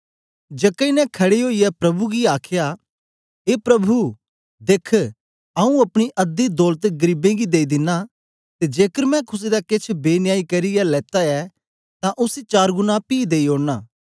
जक्कई ने खड़े ओईयै प्रभु गी आखया ए प्रभु देख्ख आऊँ अपनी अध्दी दौलत गरीबें गी देई दिना ते जेकर मैं कुसे दा केछ बेन्यायी करियै लेत्ता ऐ तां उसी चारगुना पी देई ओड़ना